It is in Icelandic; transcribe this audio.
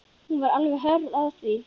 Hún var alveg hörð á því.